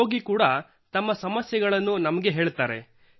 ರೋಗಿ ಕೂಡಾ ತಮ್ಮ ಸಮಸ್ಯೆಗಳನ್ನು ನಮಗೆ ಹೇಳುತ್ತಾರೆ